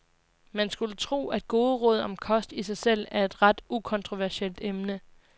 Man skulle tro, at gode råd om kost i sig selv er et ret ukontroversielt emne.